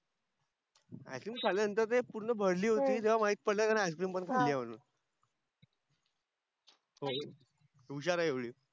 ice cream खाल्यानंतर ते पूर्ण भरली होती तेव्हा माहित पडल तिने भरली होती आयस्क्रीम हो हुशार आहे एवढी